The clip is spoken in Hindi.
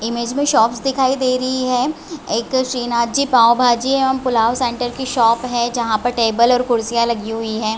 इमेज में शॉपस दिखाई दे रही हैएक श्री -नाथ जी पॉव-भाजीपुलाव सेण्टर की शॉप है जहां पर टेबल और कुर्सीया लगी हुई है।